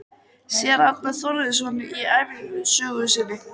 Séra Árni Þórarinsson í ævisögu sinni